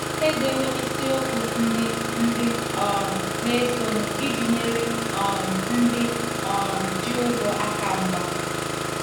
Edewo isiokwu ndị ndị um na-esonụ iji nyere um ndị um ji ụgwọ aka mgba.